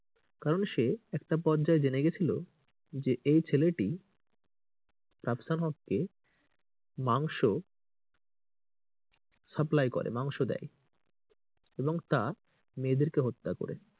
কারণ সে একটা পর্যায়ে জেনে গেছিলো যে এই ছেলেটি রাফসান হককে মাংস supply করে মাংস দেয় এবং তা মেয়েদেরকে হত্যা করে।